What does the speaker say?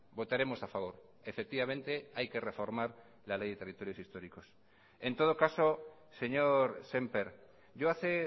votaremos a favor efectivamente hay que reformar la ley de territorios históricos en todo caso señor sémper yo hace